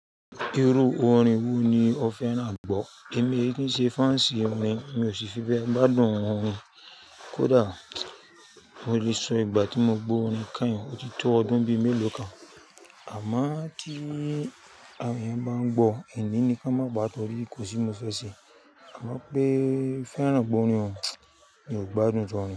Irú orin wo ni ọ fẹ́ràn gbọ́? Èmi, kí n ṣe fans orin, mi ò sì fi bẹ́ gbádùn orin. Kódà mo lè sọ ìgbà tí mo gbọ́ orin kányin, ó ti tó ọdún bí mẹ́lòó kan. Àmọ́ kí àwọn èèyàn bá ń gbọ́, n ní ni ká má gbo tọ́rí, kò sí mo fẹ́ ṣẹ. Àmọ́ pé fẹ́ràn gbọ́ orin o, mi ò gbádùn jọ orin.